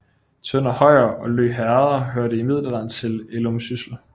Tønder Højer og Lø Herreder hørte i middelalderen til Ellumsyssel